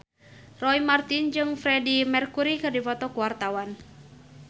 Roy Marten jeung Freedie Mercury keur dipoto ku wartawan